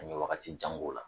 An ye wagatijan k'o la